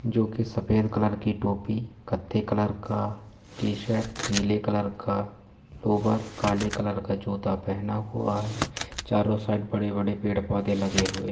जो के सफेद कलर की टोपी कत्थे कलर का टी-शर्ट नीले कलर का लोवर काले कलर का जूता पहना हुआ है चारो साइड बड़े-बड़े पेड़-पौधे लगे हुए --